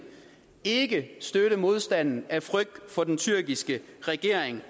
ikke støtte modstanden af frygt for den tyrkiske regering